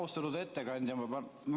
Austatud ettekandja!